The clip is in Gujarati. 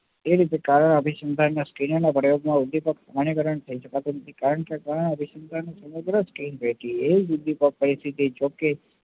જે રીતે અભિસંધાન માં પ્રયત્નો અભિગમ નું સ્થાનીકરણ કરી શકાતું નથી કારણ કે ઘણા અભિસંધાન સમગ્ર પરિસ્થિતિ હોય છે